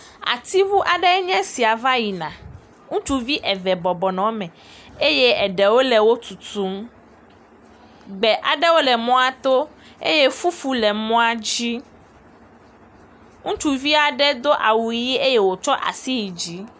Atiŋu aɖe nye esia va yina, ŋutsuvi eve bɔbɔ nɔ eme eye eɖewo le wo tutum, gbe aɖewo le mɔato eye fufu le mɔa dzi. Ŋutsuvi aɖe do awu ƒi eye wotsɔ asi yi dzi.